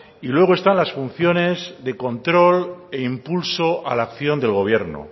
y luego están las funciones de control e impulso a la acción del gobierno